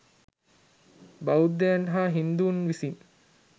බෞද්ධයන් හා හින්දුන් විසින්